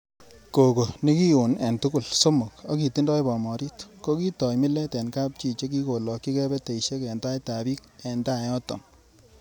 Coco nekion en tugul somok ak kitindoi bomorit, ko kitoi milet en kapchi chekikolokchi key peteisiek en taitab bik en tai yoton.